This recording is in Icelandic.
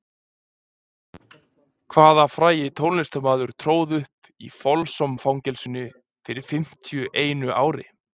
Hvaða frægi tónlistarmaður tróð upp í Folsom-fangelsinu fyrir fimmtíu einu ári?